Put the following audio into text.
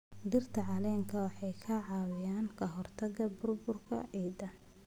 Dhirta caleenta waxay ka caawiyaan ka hortagga burburka ciidda.